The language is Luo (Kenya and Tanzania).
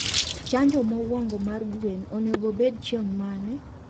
Chanjo mowongo mar gwen onego obed chiengmane?